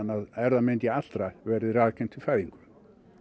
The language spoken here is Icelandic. að erfðamengi allra verði raðgreint við fæðingu